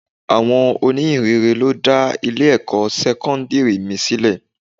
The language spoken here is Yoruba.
Àwọn oní ìhìnrere ló dá Ilé ẹ̀kọ́ sẹ́kọ́ńdírì mi sílẹ̀.